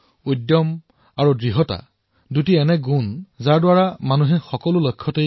ইচ্ছা আৰু দৃঢ় নিশ্চয়তা এনেকুৱা দুটা বস্তু যাৰ দ্বাৰা মানুহে প্ৰতিটো লক্ষ্য প্ৰাপ্ত কৰিব পাৰে